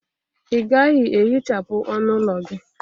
Ị gaghị ehichapụ ọnụ ụlọ gị?